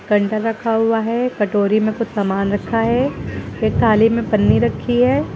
रखा हुआ है कटोरी में कुछ सामान रखा है एक थाली में पन्नी रखी है।